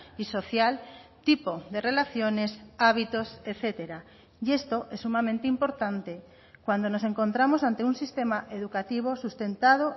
y social tipo de relaciones hábitos etcétera y esto es sumamente importante cuando nos encontramos ante un sistema educativo sustentado